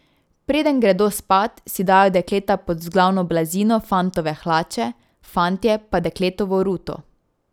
Preden gredo spat, si dajo dekleta pod vzglavno blazino fantove hlače, fantje pa dekletovo ruto.